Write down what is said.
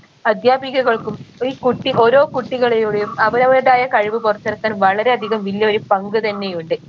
അധ്യാപികകൾക്കും ഈ കുട്ടി ഓരോ കുട്ടികളിയുടെയും അവരവരുടേതായ കഴിവ് പുറത്തെടുക്കാൻ വളരെ അധികം വലിയൊരു പങ്ക് തന്നെ ഉണ്ട്